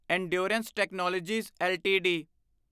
endurance technologies LTD